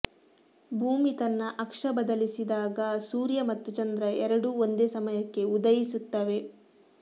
ಭೂಮಿ ತನ್ನ ಅಕ್ಷ ಬದಲಿಸಿದಾಗ ಸೂರ್ಯ ಮತ್ತು ಚಂದ್ರ ಎರಡೂ ಒಂದೇ ಸಮಯಕ್ಕೆ ಉದಯಿಸುತ್ತವೆ